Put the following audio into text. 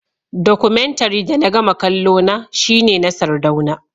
Documentary da na gama kallona shine na sardauna